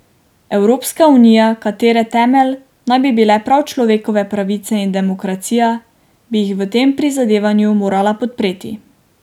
Evropska unija, katere temelj naj bi bile prav človekove pravice in demokracija, bi jih v tem prizadevanju morala podpreti.